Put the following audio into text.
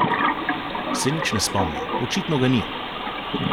Se nič ne spomnim, očitno ga ni!